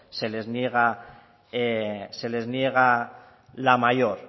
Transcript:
se les niega la mayor